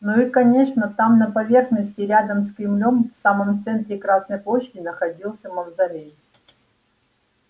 ну и конечно там на поверхности рядом с кремлём в самом центре красной площади находился мавзолей